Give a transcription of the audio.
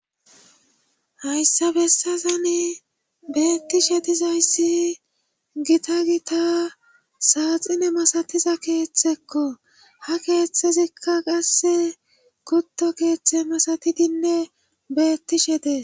Hayssa bessazane beettishe tizayssi gita gita saaxine masatiza keeththekko ha keeththezikka qasse kutto keeththe masatidinne beettishe dee.